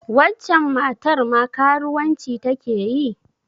Waccen matar ma karuwanci ta ke yi?